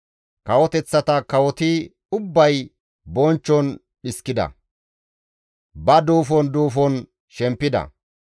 Kawoteththata kawoti ubbay bonchchon dhiskida; ba duufon duufon shempida.